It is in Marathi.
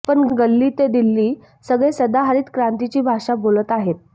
पण गल्ली ते दिल्ली सगळे सदाहरित क्रांतीची भाषा बोलत आहेत